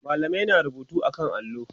mallamin na rubutu a kan allo